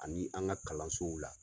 Ani an ka kalansow la.